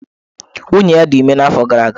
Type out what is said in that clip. Nwunye ya dị ime n'afọ gara aga.